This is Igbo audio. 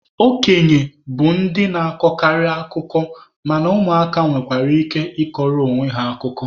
Okenye bụ ndị na-akọkarị akụkọ mana ụmụ aka nwekwara ike ịkọrọ onwe ha akụkọ.